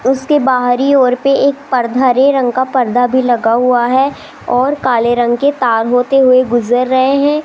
उसके बाहरी ओर पे एक पर्द हरे रंग का पर्दा भी लगा हुआ है और काले रंग के तार होते हुए गुजर रहे हैं।